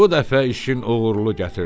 Bu dəfə işin uğurlu gətirdi.